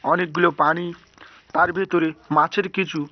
অনেকগুলো পানি তার ভেতরে মাছের কিছু--